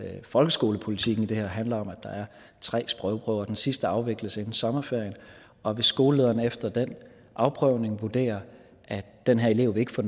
folkeskolepolitikken i det her handler om at der er tre sprogprøver den sidste afvikles inden sommerferien og hvis skolelederen efter den afprøvning vurderer at den her elev ikke får